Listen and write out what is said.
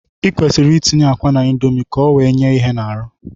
I kwesịrị itinye akwa n'ime indomi ka o wee nye ihe n'arụ